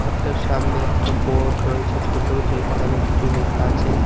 ঘরটার সামনে একটা বোর্ড রয়েছে ছোট যেখানে কিছু লেখা আছে।